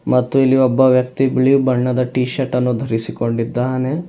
ಮತ್ತೆ ಇಲ್ಲಿ ಒಬ್ಬ ವ್ಯಕ್ತಿ ಬಿಳಿ ಬಣ್ಣದ ಟಿ ಶರ್ಟ್ ಅನ್ನು ಧರಿಸಿಕೊಂಡಿದ್ದಾನೆ.